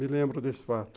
Me lembro desse fato.